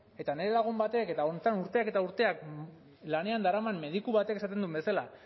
eta nire lagun batek eta honetan urteak eta urteak lanean daraman mediku batek esaten duen bezala